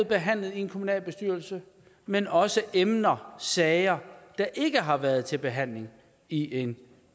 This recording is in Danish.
behandlet i en kommunalbestyrelse men også emner sager der ikke har været til behandling i en